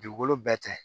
Dugukolo bɛɛ tɛ